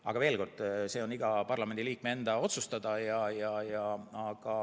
Aga veel kord: see on iga parlamendiliikme enda otsustada.